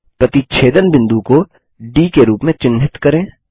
प्रतिच्छेदन बिंदु को डी के रूप में चिन्हित करें